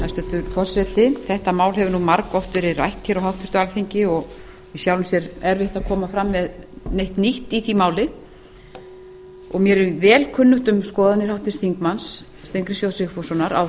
hæstvirtur forseti þetta mál hefur nú margoft verið rætt hér á háttvirtu alþingi og í sjálfu sér erfitt að koma fram með neitt nýtt í því máli mér er vel kunnugt um skoðanir háttvirtur þingmaður steingríms j sigfússonar á